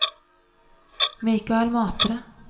Michael Matre